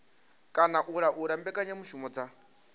kana u laula mbekanyamushumo dza